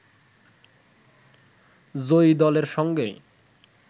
জয়ী দলের সঙ্গে